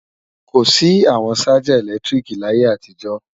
Kò sí àwọn ṣájà ẹ̀lẹ́tíríkì láyé àtijọ́